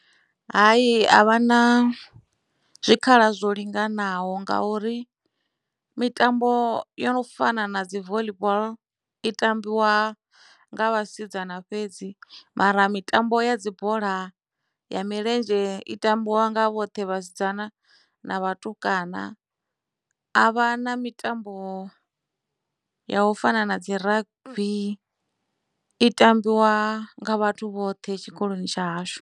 Hai a vha na zwikhala zwo linganaho nga uri mitambo yo no fana na dzi voḽi boḽo i tambiwa nga vhasidzana fhedzi mara mitambo ya dzibola ya milenzhe i tambiwa nga vhoṱhe vhasidzana na vhatukana a vha na mitambo ya u fana na dzi rugby i tambiwa nga vhathu vhoṱhe tshikoloni tsha hashu.